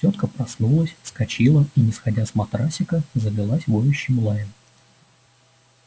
тётка проснулась вскочила и не сходя с матрасика залилась воющим лаем